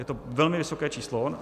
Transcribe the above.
Je to velmi vysoké číslo.